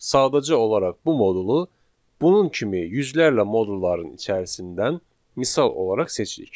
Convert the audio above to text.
Sadəcə olaraq bu modulu bunun kimi yüzlərlə modulların içərisindən misal olaraq seçirik.